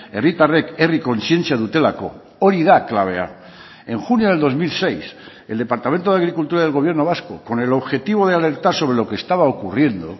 herritarrek herri kontzientzia dutelako hori da klabea en junio del dos mil seis el departamento de agricultura del gobierno vasco con el objetivo de alertar sobre lo que estaba ocurriendo